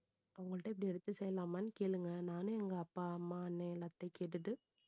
அவங்கள்ட்ட இப்படி எடுத்து செய்யலாமான்னு கேளுங்க நானு எங்க அப்பா அம்மா அண்ணன் எல்லாத்துட்டையும் கேட்டுட்டு